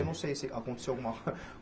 Eu não sei se aconteceu alguma.